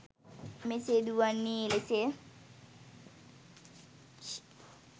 මෙසේ දුවන්නේ එලෙසය.